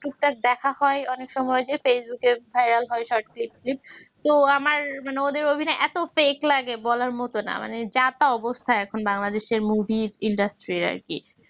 টুকটাক দেখা হয় অনেক সময় যে facebook এ viral হয় short film tilm তো আমার মানে ওদের অভিনয় এত fake লাগে বলার মতন না মানে যা-তা অবস্থা এখন বাংলাদেশের movie industry র আরকি